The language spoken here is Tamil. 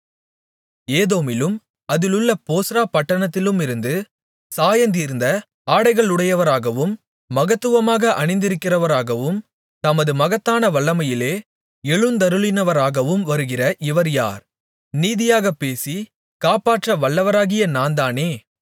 ஏதோமிலும் அதிலுள்ள போஸ்றா பட்டணத்திலுமிருந்து சாயந்தீர்ந்த ஆடைகளுடையவராகவும் மகத்துவமாக அணிந்திருக்கிறவராகவும் தமது மகத்தான வல்லமையிலே எழுந்தருளினவராகவும் வருகிற இவர் யார் நீதியாகப் பேசி காப்பாற்ற வல்லவராகிய நான்தானே